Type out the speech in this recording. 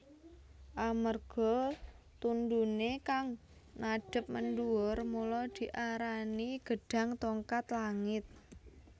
Amarga tundhuné kang madhêp mendhuwur mula diarani gêdhang tongkat langit